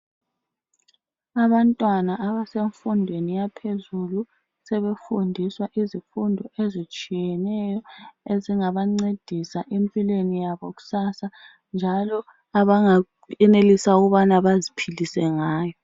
Abantwana abasemfundweni yaphezulu sebefundiswa izifundo ezitshiyeneyo ezingabancedisa empilweni yabo kusasa njalo abangenelisa ukubana baziphilise ngayo.